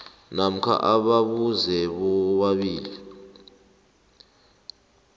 namkha ababuze bobabili